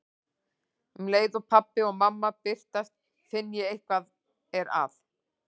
Um leið og pabbi og mamma birtast finn ég að eitthvað er að.